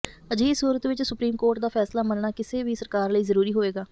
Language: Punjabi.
ਅਜਿਹੀ ਸੂਰਤ ਵਿਚ ਸੁਪਰੀਮ ਕੋਰਟ ਦਾ ਫ਼ੈਸਲਾ ਮੰਨਣਾ ਕਿਸੇ ਵੀ ਸਰਕਾਰ ਲਈ ਜ਼ਰੂਰੀ ਹੋਵੇਗਾ